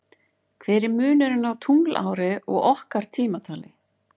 Hver er munurinn á tunglári og okkar tímatali?